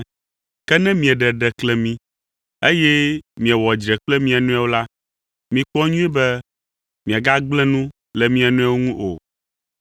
Ke ne mieɖe ɖeklemi, eye miewɔ dzre kple mia nɔewo la, mikpɔ nyuie be miagagblẽ nu le mia nɔewo ŋu o.